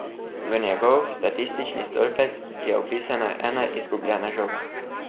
V njegov statistični stolpec je vpisana ena izgubljena žoga.